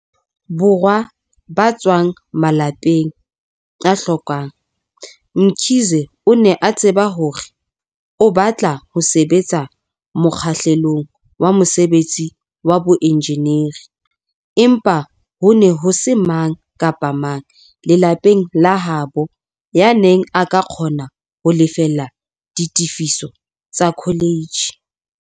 Borwa ba tswang malapeng a hlokang, Mkhize o ne a tseba hore o batla ho sebetsa mokgahlelong wa mosebetsi wa boenjenieri, empa ho ne ho se mang kapa mang lelapeng la habo yaneng a ka kgona ho lefella ditefiso tsa kholetjhe.